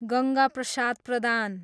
Ganga Prasad Pradhan